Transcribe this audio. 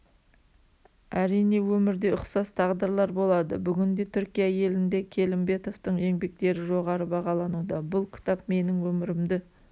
әрине өмірде ұқсас тағдырлар болады бүгінде түркия елінде келімбетовтың еңбектері жоғары бағалануда бұл кітап менің өмірімді